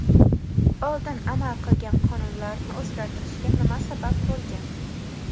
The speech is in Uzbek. Oldin amal qilgan qonunlarni o‘zgartirishga nima sabab bo‘lgan?